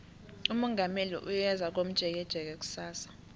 umongameli uyeza komjekejeke kusasa